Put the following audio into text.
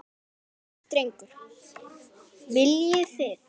Ónefndur drengur: Viljið þið?